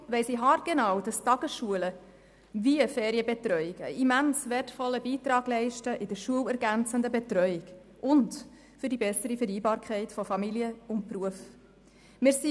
Deshalb weiss ich haargenau, dass sowohl Tagesschulen als auch die Ferienbetreuung einen immens wertvollen Beitrag zur schulergänzenden Betreuung und für die bessere Vereinbarkeit von Familie und Beruf leisten.